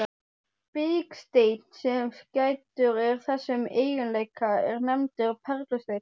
Biksteinn, sem gæddur er þessum eiginleika, er nefndur perlusteinn.